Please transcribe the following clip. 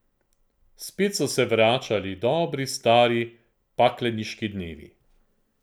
Spet so se vračali dobri stari pakleniški dnevi!